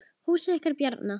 Húsið ykkar Bjarna.